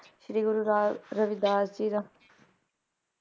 ਸ਼੍ਰੀ Guru Ravidas ji ਦਾ